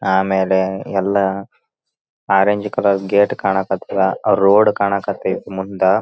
ಆಮೇಲೆ ಎಲ್ಲಾ orange colour gate ಕಾಣಕತ್ತಾದ ರೋಡ್ ಕಾಣಕತ್ತಾದ ಮುಂದ --